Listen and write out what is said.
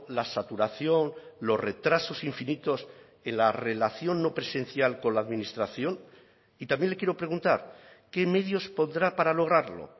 la saturación los retrasos infinitos en la relación no presencial con la administración y también le quiero preguntar qué medios pondrá para lograrlo